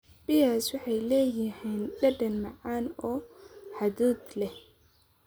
Pears waxay leeyihiin dhadhan macaan oo hadhuudh leh.